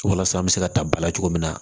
Walasa an bɛ se ka ta ba la cogo min na